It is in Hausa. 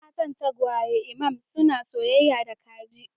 Yan matan tagwayen imam suna soyayya da kaji